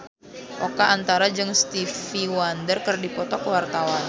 Oka Antara jeung Stevie Wonder keur dipoto ku wartawan